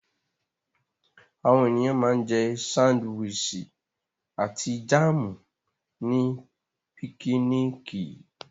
Àwọn ènìyàn ma ń jẹ́ sándíwìsì àti jáàmù ní pikiniki